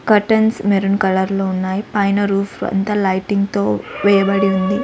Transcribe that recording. Curtains maroon colour లో ఉన్నాయి పైన రూఫ్ అంతా లైటింగ్ తో వేయబడి ఉంది.